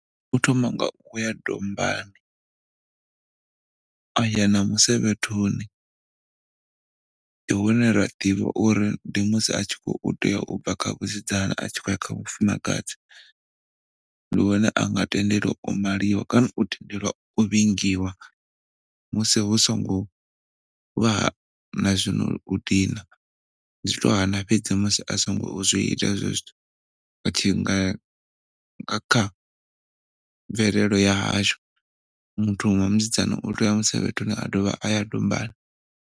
U thoma nga uya dombani aya na musevhethoni, ndi hune ra ḓivha uri ndi musi a tshi kho u tea ubva kha vhusidzana a tshi kho ya kha vhufumakdzi. Ndi hone anga tendelwa u maliwa kana u tendelwa u vhingiwa musi hu songo vha na zwono dina ndi tshi to hana fhedzi musi a si ngo zwi ita hezwo zwithu nga kha mvelelo ya hashu muthu wa musidzana u tea uya musevhethoni a dovha aya dombani.